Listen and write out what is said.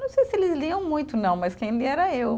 Não sei se eles liam muito, não, mas quem lia era eu.